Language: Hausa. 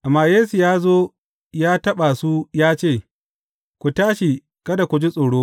Amma Yesu ya zo ya taɓa su ya ce, Ku tashi, kada ku ji tsoro.